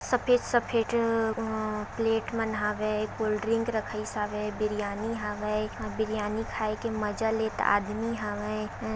सफेद सफेद ए अ प्लेट मन हावे कोल्ड ड्रिंक रखाईस हावे बिरयानी हावे बिरयानी खाई के मजा लेत आदमी हावे।